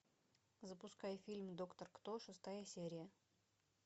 запускай фильм доктор кто шестая серия